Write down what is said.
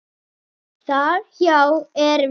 Þar hjá er viti.